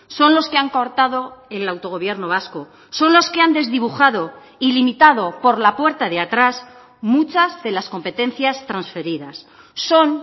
son los que han cortado el autogobierno vasco son los que han desdibujado y limitado por la puerta de atrás muchas de las competencias transferidas son